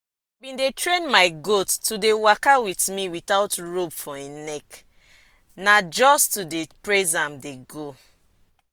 i bin train my goat to dey waka with me without rope for em neck na just to dey praise am dey go.